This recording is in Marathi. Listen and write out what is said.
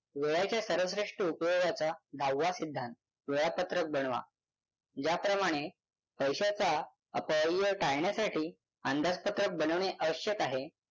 वेळाच्या सर्वश्रेष्ठ उपयोगाचा दहावा सिद्धांत वेळापत्रक बनवा ज्याप्रमाणे पैशाचा अपव्यय टाळण्यासाठी अंदाजपत्रक बनवणे आवश्यक आहे.